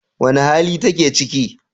Wane hali take ciki?